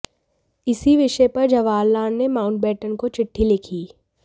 इसी विषय पर जवाहरलाल ने माउंटबेटन को चिट्ठी लिखी